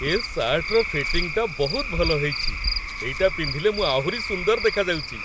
ଏ ସାର୍ଟର ଫିଟିଙ୍ଗ୍‌ଟା ବହୁତ ଭଲ ହେଇଚି । ଏଇଟା ପିନ୍ଧିଲେ ମୁଁ ଆହୁରି ସୁନ୍ଦର ଦେଖାଯାଉଚି ।